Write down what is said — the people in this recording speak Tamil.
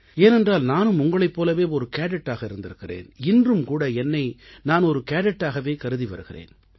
ஏனென்றால் நானும் உங்களைப் போலவே ஒரு கேடெட்டாக இருந்திருக்கிறேன் இன்றும் கூட என்னை நான் ஒரு கேடெட்டாகவே கருதி வருகிறேன்